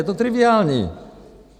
Je to triviální.